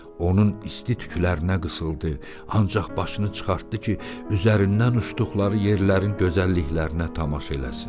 Onun isti tüklərinə qısıldı, ancaq başını çıxartdı ki, üzərindən uçduqları yerlərin gözəlliklərinə tamaşa eləsin.